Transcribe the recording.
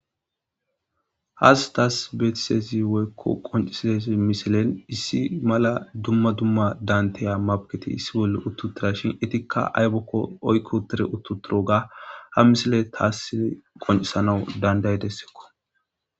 has taas beetisezi woykko qoncisiez misilen issi mala dumma dumma dantiya mabketi issi bolle uttutira shin etikka aybokko oykko tire uttutiro ga ha misile taassin qoncisanawu danday dessekko